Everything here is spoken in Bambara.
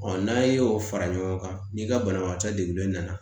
n'a ye o fara ɲɔgɔn kan ni ka banabagatɔ degunen nana